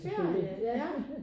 Ferie ja